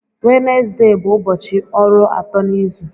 Wenezde bụ ụbọchị ọrụ atọ n'izu.